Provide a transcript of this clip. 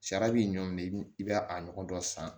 Sariya b'i ɲɔ minɛ i bɛ a nɔgɔ dɔ san